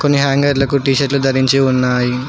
కొన్ని హ్యాంగర్లకు టీ షర్ట్లు ధరించి ఉన్నాయి